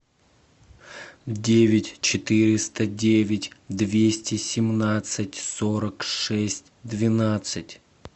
девять четыреста девять двести семнадцать сорок шесть двенадцать